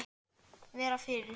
Vera fyrir.